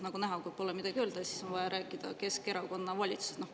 Nagu näha, kui pole midagi öelda, siis on vaja rääkida Keskerakonna valitsusest.